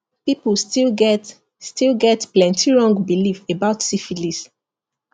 people still get still get plenty wrong belief about syphilis